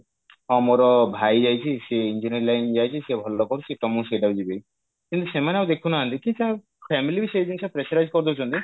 ହଁ ମୋର ଭାଇ ଯାଇଛି ସେ engineering line କୁ ଯାଇଛି ସେ ଭଲ କରୁଛି ତ ମୁଁ ସେଇଟାକୁ ଯିବି କିନ୍ତୁ ସେମାନେ ଆଉ ଦେଖୁନାହାନ୍ତି କି ସେ family ବି ସେଇ ଜିନିଷ pressurize କରିଦଉଛନ୍ତି